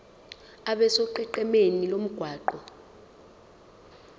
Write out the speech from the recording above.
abe sonqenqemeni lomgwaqo